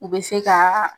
U bɛ se ka